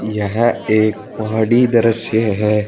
यह एक पहाड़ी द्रश्य है।